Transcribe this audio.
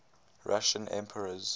russian emperors